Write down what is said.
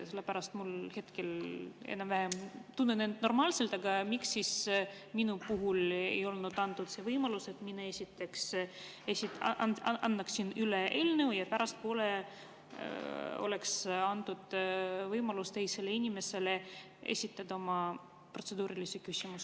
Sellepärast et ma hetkel tunnen end normaalselt, aga miks siis mulle ei antud seda võimalust, et mina annaksin üle eelnõu, ja pärastpoole oleks antud teisele inimesele võimalus esitada oma protseduuriline küsimus.